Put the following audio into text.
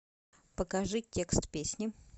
покажи текст песни